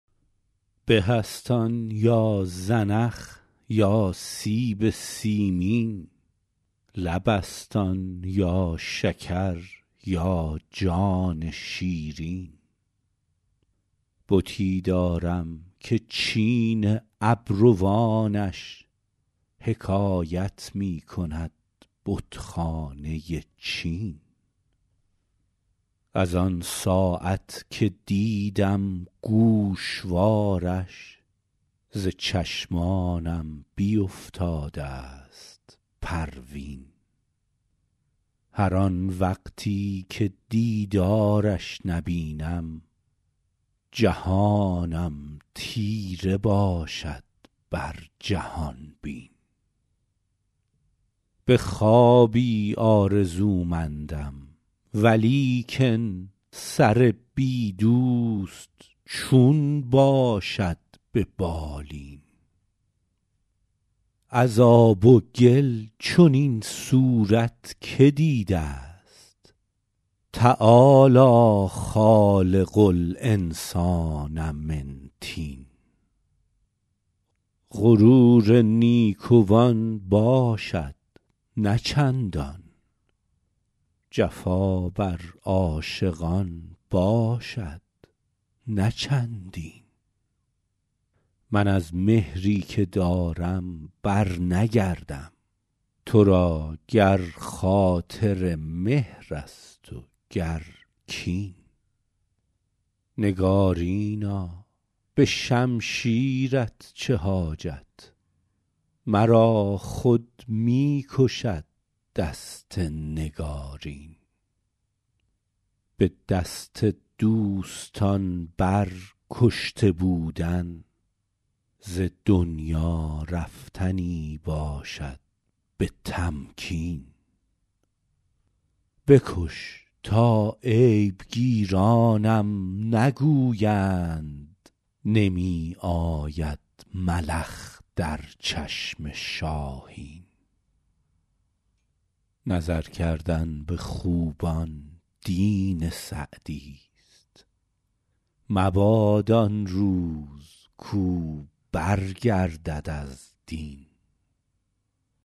به است آن یا زنخ یا سیب سیمین لب است آن یا شکر یا جان شیرین بتی دارم که چین ابروانش حکایت می کند بتخانه چین از آن ساعت که دیدم گوشوارش ز چشمانم بیفتاده ست پروین هر آن وقتی که دیدارش نبینم جهانم تیره باشد بر جهان بین به خوابی آرزومندم ولیکن سر بی دوست چون باشد به بالین از آب و گل چنین صورت که دیده ست تعالی خالق الانسان من طین غرور نیکوان باشد نه چندان جفا بر عاشقان باشد نه چندین من از مهری که دارم برنگردم تو را گر خاطر مهر است و گر کین نگارینا به شمشیرت چه حاجت مرا خود می کشد دست نگارین به دست دوستان بر کشته بودن ز دنیا رفتنی باشد به تمکین بکش تا عیب گیرانم نگویند نمی آید ملخ در چشم شاهین نظر کردن به خوبان دین سعدیست مباد آن روز کاو برگردد از دین